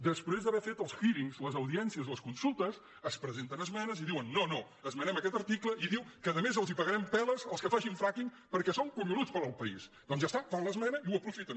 després d’haver fet els hearingspresenten esmenes i diuen no no esmenem aquest article i diu que a més els pagarem peles als que facin fracking perquè són collonuts per al país doncs ja està fan l’esmena i ho aprofiten